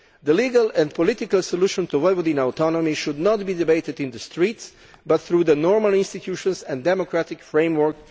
The legal and political solution to Vojvodina's autonomy should not be debated in the streets but through the normal institutions and democratic framework.